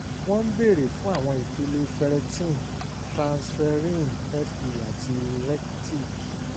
wọ́n ń bèèrè fún àwọn ipele f erretin transferring fe àti retic